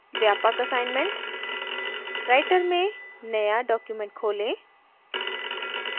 व्यापक assignment नियतकार्य writer में नया document खोलें